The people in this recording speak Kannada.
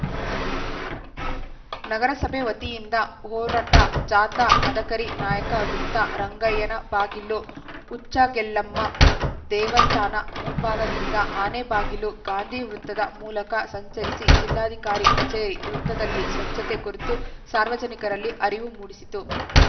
ನಗರಸಭೆ ವತಿಯಿಂದ ಹೊರಟ ಜಾಥಾ ಮದಕರಿ ನಾಯಕ ವೃತ್ತ ರಂಗಯ್ಯನಬಾಗಿಲು ಉಚ್ಚಂಗೆಲ್ಲಮ್ಮ ದೇವಸ್ಥಾನ ಮುಂಭಾಗದಿಂದ ಆನೆಬಾಗಿಲು ಗಾಂಧಿವೃತ್ತದ ಮೂಲಕ ಸಂಚರಿಸಿ ಜಿಲ್ಲಾಧಿಕಾರಿ ಕಚೇರಿ ವೃತ್ತದಲ್ಲಿ ಸ್ವಚ್ಛತೆ ಕುರಿತು ಸಾರ್ವಜನಿಕರಲ್ಲಿ ಅರಿವು ಮೂಡಿಸಿತು